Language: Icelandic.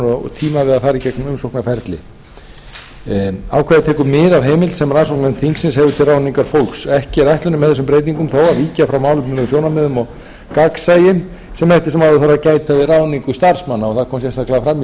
og tíma við að fara í gegnum umsóknarferli ákvæðið tekur mið af heimild sem rannsóknarnefnd þingsins hefur til ráðningar fólks ekki er ætlunin með þessum breytingum þó að víkja frá málefnalegum sjónarmiðum og gagnsæi sem eftir sem áður þarf að gæta við ráðningu starfsmanna það